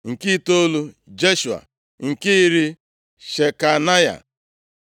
nke itoolu, Jeshua nke iri, Shekanaya